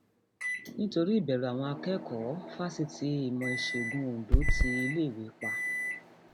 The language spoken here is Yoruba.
nítorí ìbẹrù àwọn akẹkọọ fásitì ìmọ ìṣègùn ondo ti iléèwé pa